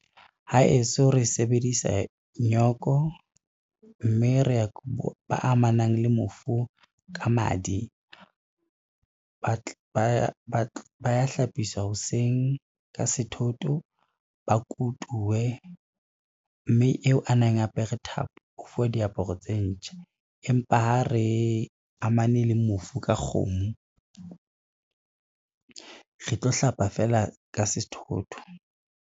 Haeso re sebedisa nyoko, mme ba amanang le mofu ka madi, ba ya hlapiswa hoseng ka sethotho, ba kutuwe, mme eo a neng a apere thapo o fuwa diaparo tse ntjha. Empa ha re amane le mofu ka kgomo, re tlo hlapa feela ka sethotho.